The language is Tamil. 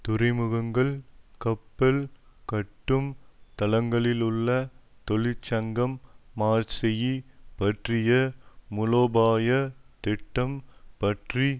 துறைமுகங்கள் கப்பல் கட்டும் தளங்களிலுள்ள தொழிற்சங்கம் மார்சேயி பற்றிய மூலோபாயத் திட்டம் பற்றி